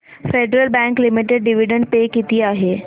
federal bank limited dividend pay किती आहे